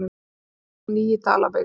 Rafmagn á ný í Dalabyggð